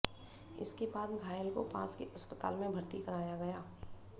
इसके बाद घायल को पास के अस्पताल में भर्ती कराया गया